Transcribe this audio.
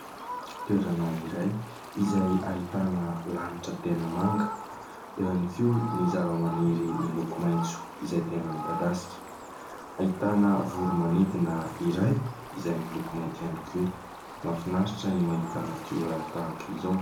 Toerana iray izay ahitana lanitra tena manga. Eo ihany koa ny zava-maniry miloko maintso izay tena midadasika. Ahitana voro-manidina iray izay miloko mainty ihany koa. Mahafinaritra ny mahita natiora tahaka izao.